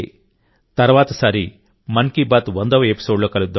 తర్వాతిసారి మన్ కీ బాత్ వందవ ఎపిసోడ్లో కలుద్దాం